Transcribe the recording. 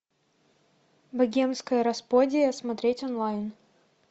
богемская рапсодия смотреть онлайн